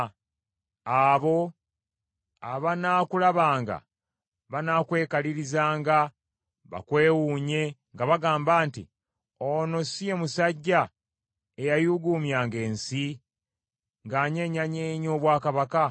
Abo abanaakulabanga banaakwekalirizanga bakwewuunye nga bagamba nti, “Ono si ye musajja eyayugumyanga ensi, ng’anyeenyanyeenya obwakabaka!